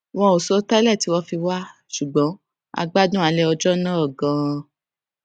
wọn ò sọ tẹlẹ tí wọn fi wá ṣùgbọn a gbádùn alé ọjó náà ganan